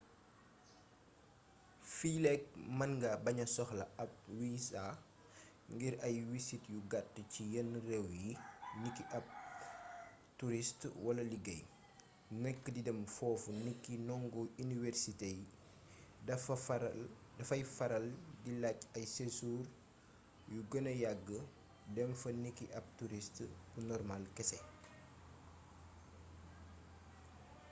fiileek mën nga baña soxla ab wisa ngir ay wisit yu gàtt ci yenn réew yi niki bu ab turist wala liggéey nekk di dem foofu niki ndongo iniwersité dafay faral di laaj ay séjour yu gëna yagg dem fa niki ab turist bu normal kese